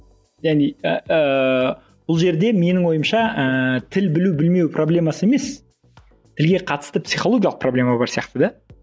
және ыыы бұл жерде менің ойымша ііі тіл білу білмеу проблемасы емес тілге қатысты психологиялық проблема бар сияқты да